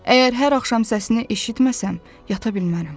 Əgər hər axşam səsini eşitməsəm, yata bilmərəm.”